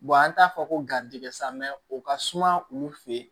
an t'a fɔ ko garijigɛ sa o ka suma olu fe yen